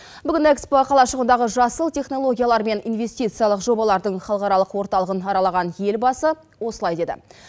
бүгін экспо қалашығындағы жасыл технологиялар мен инвестициялық жобалардың халықаралық орталығын аралаған елбасы осылай деді